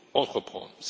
entreprendre.